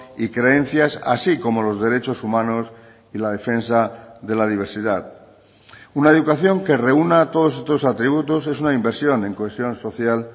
y creencias así como los derechos humanos y la defensa de la diversidad una educación que reúna todos estos atributos es una inversión en cohesión social